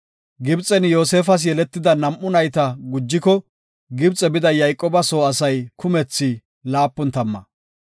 Gibxen Yoosefas yeletida nam7u nayta gujiko, Gibxe bida Yayqooba soo asay kumethi laapun tamma.